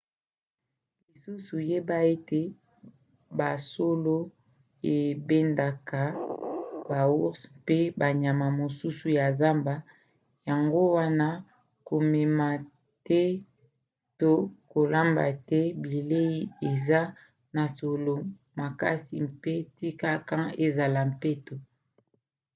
lisusu yeba ete basolo ebendaka baours mpe banyama mosusu ya zamba yango wana komema te to kolamba te bilei eza na solo makasi mpe tika camp ezala peto